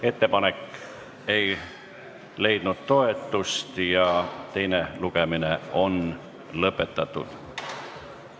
Ettepanek ei leidnud toetust ja teine lugemine on lõpetatud.